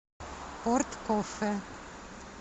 порт кофе